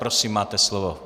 Prosím, máte slovo.